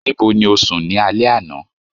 nibo ni o sùn ni alẹ ana?